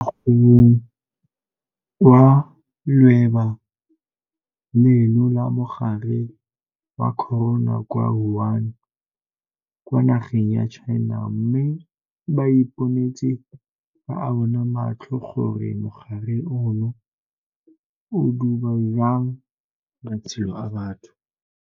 Ba tswa ko mogobeng wa leuba leno la mogare wa corona kwa Wuhan kwa nageng ya China mme ba iponetse ka a bona matlho gore mogare ono o duba jang matshelo a batho.